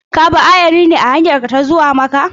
Ka bi ayari ne a hanyarka ta zuwa Makka?